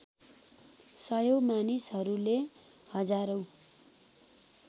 सयौँ मानिसहरूले हजारौँ